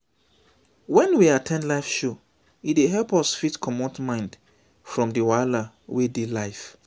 when we at ten d live show e dey help us fit comot mind from di wahala wey dey life